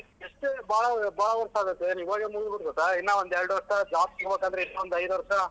ಯೆಸ್ತೇ ಬಾಳ ಬಾಳಾ ವರ್ಷ ಆಗುತ್ತೆ ಇನ್ನ ಒಂದೆರ್ಡ್ ವರ್ಷ job ಸಿಗ್ಬೇಕು ಇನ್ನೊಂದ್ ಐದ್ ವರ್ಷ.